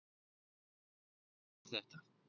Tökum dæmi um þetta.